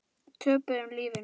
Töpuðu lífinu.